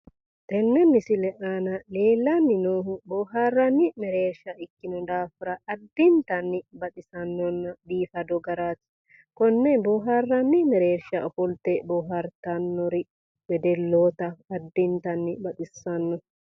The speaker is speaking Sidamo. Tenne misile aana leellanni noohu boohaarranni mereersha ikkino daafira addintanni baxisannonna biifado garaati. Konne boohaarranni mereersha ofolte boohaartannori wedelloota addintanni baxissanno.